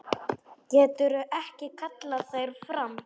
Getur ekki kallað þær fram.